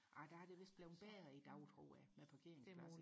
ah der er det vidst blevet bedre i dag tror jeg med parkeringspladser